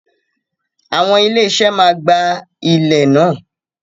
Awon ilé iṣẹ́ máa gba ilẹ̀ náà.